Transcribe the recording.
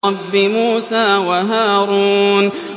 رَبِّ مُوسَىٰ وَهَارُونَ